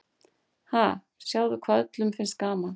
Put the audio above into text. Ha, sjáðu hvað öllum finnst gaman.